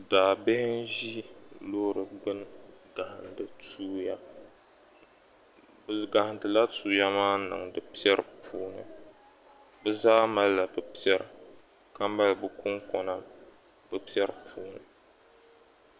Daabihi n-ʒi loori gbuni n-gahindi tuya bɛ gahindila tuya maa n-niŋdi piɛri puuni bɛ zaa malila bɛ piɛri ka mali bɛ kuŋkɔna bɛ piɛri puuni